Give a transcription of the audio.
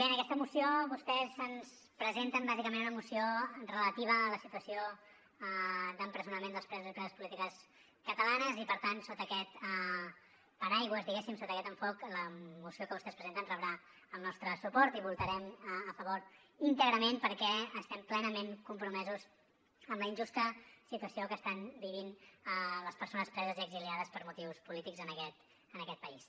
en aquesta moció vostès ens presenten bàsicament una moció relativa a la situació d’empresonament dels presos i preses polítiques catalanes i per tant sota aquest paraigua sota aquest enfocament la moció que vostès presenten rebrà el nostre suport i votarem a favor íntegrament perquè estem plenament compromesos amb la injusta situació que estan vivint les persones preses i exiliades per motius polítics en aquest país